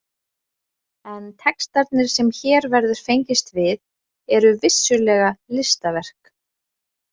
En textarnir sem hér verður fengist við eru vissulega listaverk.